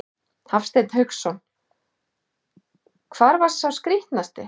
Hafsteinn Hauksson: Hvar var sá skrítnasti?